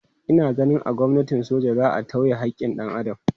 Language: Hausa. Ina ganin a gwamnatin soja za a tauye haƙƙin dan Adam.